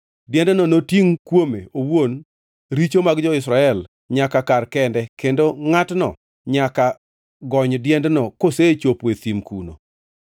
Diendno notingʼ kuome owuon richo mar jo-Israel nyaka kar kende kendo ngʼatno nyaka gony diendno kosechopo e thim kuno.